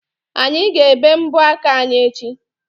Anyị ga-ebe mbọ aka anyi echi.